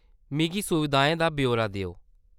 मिगी सुविधाएं दा ब्यौरा देओ।